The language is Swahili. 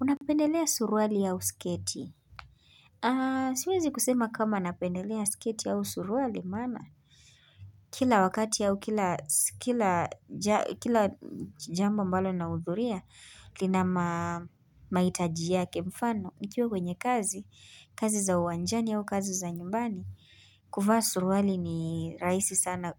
Unapendelea suruali au sketi? Siwezi kusema kama napendelea sketi yao suruali maana, Kila wakati yao, kila jambo ambalo nahudhuria, lina mahitaji yake mfano, nikiwa kwenye kazi. Kazi za uwanjani au kazi za nyumbani, kuvaa suruali ni rahisi sana.